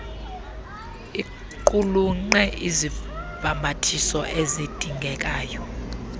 iqulunqe izibhambathiso ezidingekayo